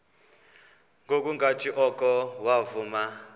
ngokungathi oko wavuma